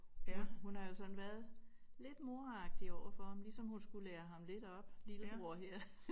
Hun hun har jo sådan været lidt moragtig overfor ham ligesom hun skulle lære ham lidt op lillebror her